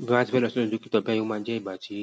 Bí mo bá ti fẹ́ lọ sí ọ̀dọ̀ dókítà bayẹn, ó máa jẹ́ ìgbà tí